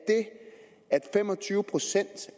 at fem og tyve procent